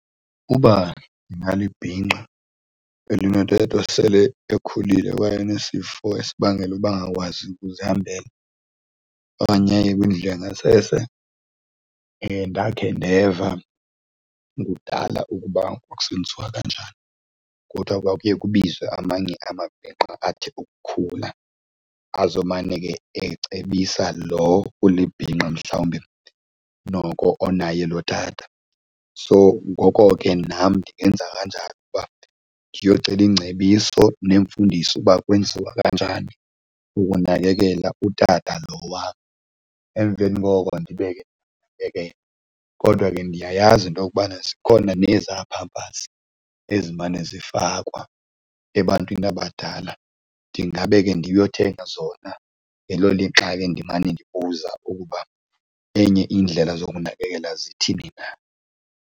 Uba ndingalibhinqa elinotata osele ekhulile kwaye onesifo esibangela uba angakwazi ukuzihambela okanye aye kwindlu yangasese, ndakhe ndeva kudala ukuba kwakusenziwa kanjani kuthwa kwakuye kubizwe amanye amabhinqa athe ukukhula azomane ke ecebisa lo ulibhinqa mhlawumbi noko onaye lo tata. So ngoko ke nam ndingenza kanjalo uba ndiyocela iingcebiso neemfundiso uba kwenziwa kanjani ukunakekela utata lo wam. Emveni koko ndibe ke ndibe ke kodwa ke ndiyayazi into yokubana zikhona nezaa Pampers ezimane zifakwa ebantwini abadala. Ndingabe ke ndiyothenga zona ngelo lixa ke ndimane ndibuza ukuba enye indlela zokunakekela zithini na.